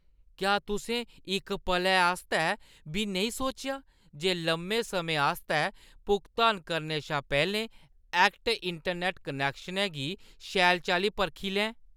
क्या तुसें इक पलै आस्तै बी नेईं सोचेआ जे लम्मे समें आस्तै भुगतान करने शा पैह्‌लें ऐक्ट इंटरनैट्ट कनेैक्शनै गी शैल चाल्ली परखी लैं ?